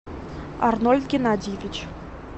арнольд геннадьевич